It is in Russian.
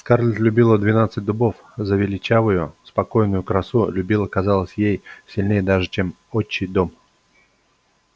скарлетт любила двенадцать дубов за величавую спокойную красу любила казалось ей сильнее даже чем отчий дом